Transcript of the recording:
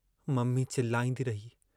Mummy चिलाईंदी रही।